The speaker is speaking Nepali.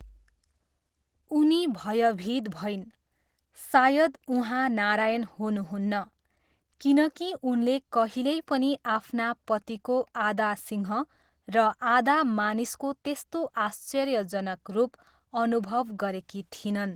उनी भयभीत भइन्, सायद उहाँ नारायण हुनुहुन्न, किनकि उनले कहिल्यै पनि आफ्ना पतिको आधा सिंह र आधा मानिसको त्यस्तो आश्चर्यजनक रूप अनुभव गरेकी थिइनन्।